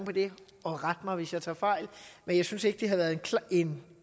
på det og ret mig hvis jeg tager fejl men jeg synes ikke der har været en